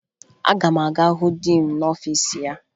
Aga m aga hụ diin n'ọfiisi ya